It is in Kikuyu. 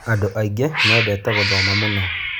Andũ aingĩ mendete gũthoma mũno.